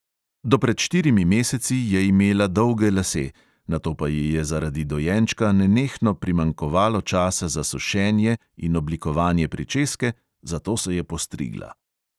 Do pred štirimi meseci je imela dolge lase, nato pa ji je zaradi dojenčka nenehno primanjkovalo časa za sušenje in oblikovanje pričeske, zato se je postrigla.